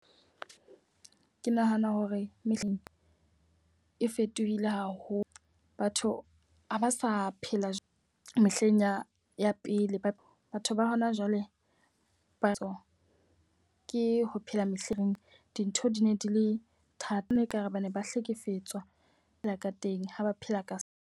Ke nahana hore mehleng e fetohile haholo. Batho ha ba sa phela mehleng ya pele batho ba hona jwale batho ke ho phela mehleng dintho di ne di le thata. Nna ekare ba ne ba hlekefetswa phela ka teng ha ba phela ka seo.